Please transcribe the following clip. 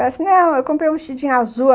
Ela disse, não, eu comprei um vestidinho azul.